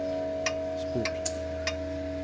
spor